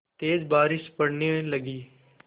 तेज़ बारिश पड़ने लगी